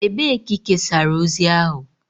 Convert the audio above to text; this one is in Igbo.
Ebee ka ị kesara ozi ahụ?